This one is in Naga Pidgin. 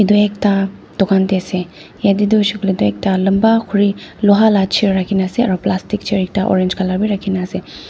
etu ekta dukan te ase yete tu hoishae koile tu ekta lamba kuri loha la chair rakina ase aro plastic chair ekta orange color b raki na ase.